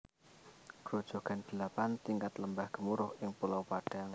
Grojogan Delapan Tingkat Lembah Gemuruh ing Pulau Padang